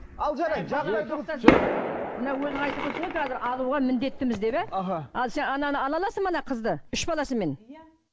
мына өзің айтып отырсың ғой қазір алуға міндеттіміз деп иә аха ал сен ананы ала аласың ба ана қызды үш баласымен